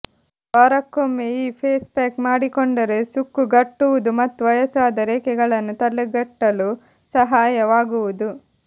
ವಾರಕ್ಕೊಮ್ಮೆ ಈ face pack ಮಾಡಿಕೊಂಡರೆ ಸುಕ್ಕುಗಟ್ಟುವುದು ಮತ್ತು ವಯಸ್ಸಾದ ರೇಖೆಗಳನ್ನು ತಡೆಗಟ್ಟಲು ಸಹಾಯವಾಗುವುದು